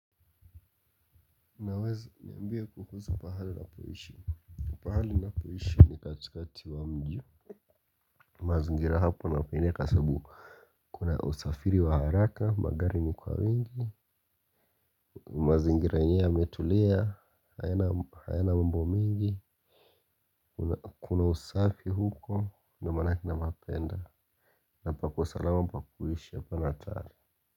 Unaweza niambia kuhusu pahali unapoishi. Pahali ninapoishi ni katikati wa mji mazingira hapo napenda kwa sababu kuna usafiri wa haraka magari ni kwa wengi. Mazingira yenyewe yametulia hayana mambo mingi. Kuna usafi huko ndio maanake napapenda. Na pako salama pa kuishi hapana hatari.